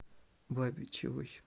бабичевой